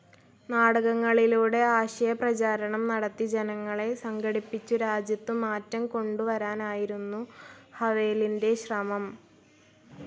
നാടകങ്ങളിലൂടെ ആശയപ്രചാരണം നടത്തി ജനങ്ങളെ സംഘടിപ്പിച്ചു രാജ്യത്തു മാറ്റംകൊണ്ടുവരാനായിരുന്നു ഹവേലിൻ്റെ ശ്രമം